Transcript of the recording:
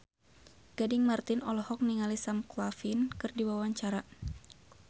Gading Marten olohok ningali Sam Claflin keur diwawancara